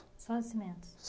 Só de cimentos?